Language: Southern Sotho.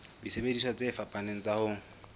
disebediswa tse fapaneng tsa ho